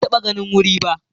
Ban taɓa ganin wuri ba